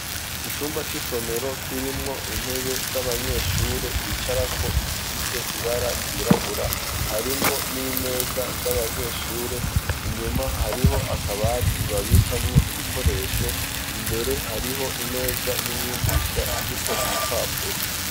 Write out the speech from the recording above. Icumba c'isomero kirimwo intebe z'abanyeshure bicara ko zifise ibara ryirabura harimwo n'imeza z'abanyeshure inyuma hariho akabati babikamwo ibikoresho imbere hariho imeza y'umyigisha iriko ibipapuro.